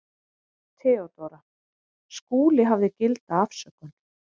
THEODÓRA: Skúli hafði gilda afsökun.